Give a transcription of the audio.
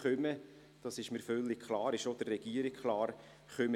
Dies ist mir sowie dem Regierungsrat völlig klar.